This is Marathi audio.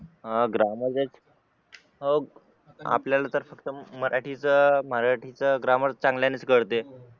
अं हो ग्रामर चा आपल्याला तर फक्त मराठीच ग्रामर चांगल्याने कळते